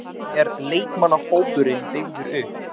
Hvernig er leikmannahópurinn byggður upp?